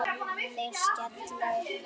Þeir skella upp úr.